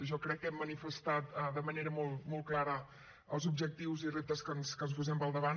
jo crec que hem manifestat de manera molt molt clara els objectius i reptes que ens posem pel davant